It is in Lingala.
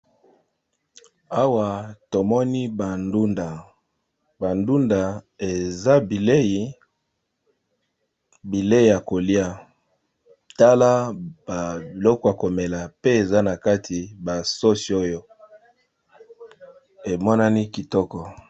awa tomoni bandunda bandunda eza bilei ya kolia tala balokwa komela pe eza na kati basosi oyo emonani kitoko